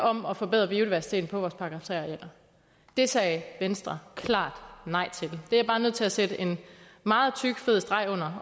om at forbedre biodiversiteten på vores § tre arealer det sagde venstre klart nej til det er jeg bare nødt til at sætte en meget tyk og fed streg under